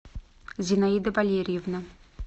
зинаида валерьевна